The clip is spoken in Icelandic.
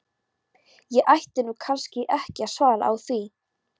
Ég ætti nú kannski ekki að svara því.